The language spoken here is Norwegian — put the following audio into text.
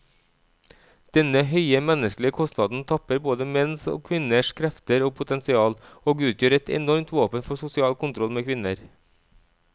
Denne høye menneskelige kostnaden tapper både menns og kvinners krefter og potensial, og utgjør et enormt våpen for sosial kontroll med kvinner.